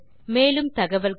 மேலும் தகவல்களுக்கு